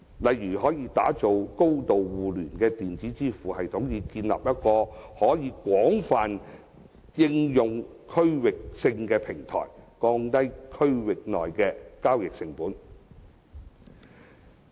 例如，打造高度互聯的電子支付系統，以建立一個可以廣泛應用的區域性平台，降低區內的交易成本。